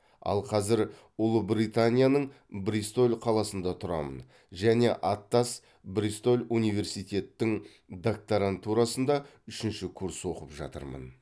ал қазір ұлыбританияның бристоль қаласында тұрамын және аттас бристоль университеттің докторантурасында үшінші курс оқып жатырмын